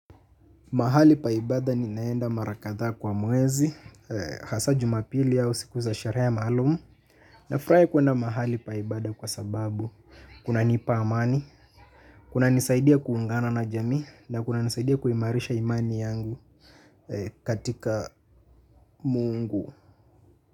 Mahali pa ibada ninaenda marakadha kwa mwezi, hasa jumapili au siku za sherehe maalumu. Ninafurahi kwenda mahali pa ibada kwa sababu, kunanipa amani, kunanisaidia kuungana na jamii, na kunanisaidia kuimarisha imani yangu katika Mungu.